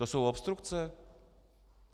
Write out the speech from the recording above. To jsou obstrukce?